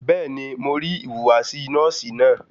Bẹ́ẹ̀ni, mo rí ìhùwàsí nọ́ọ̀sì náà.